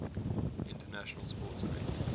international sports events